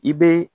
I bɛ